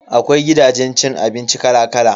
Akwai gidajen cin abinci kala kala.